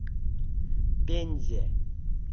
пензе